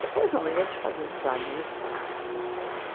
Depois não, aí a gente fazia amizade na escola.